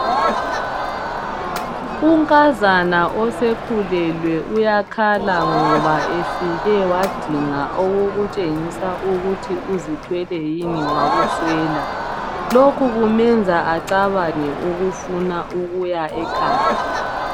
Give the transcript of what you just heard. Unkazana osekhulelwe uyakhala ngoba efike wadinga okutshengisa ukuthi uzithwele yini wakuswela. Lokhu kumenza acabange ukufuna ukuya ekhaya.